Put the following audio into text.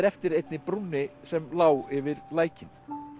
eftir einni brúnni sem lá yfir lækinn